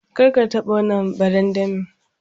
Kar ka taba wannan barandami.